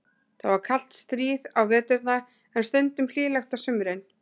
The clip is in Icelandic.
Það var kalt stríð á veturna, en stundum hlýlegt á sumrin.